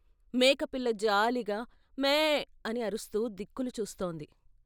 మేకపిల్ల జాలిగా ' మే ' అని అరుస్తూ దిక్కులు చూస్తోంది.